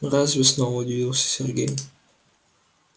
разве снова удивился сергей